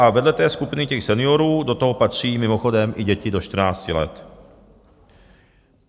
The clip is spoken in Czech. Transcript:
A vedle té skupiny těch seniorů do toho patří mimochodem i děti do 14 let.